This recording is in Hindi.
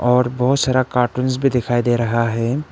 और बहुत सारा कार्टून्स भी दिखाई दे रहा है।